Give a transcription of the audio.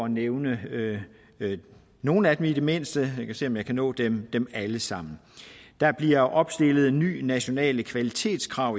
nævne nogle af dem i det mindste jeg kan se om jeg kan nå dem alle sammen der bliver opstillet nye nationale kvalitetskrav